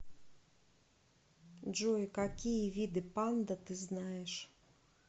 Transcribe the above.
джой какие виды панда ты знаешь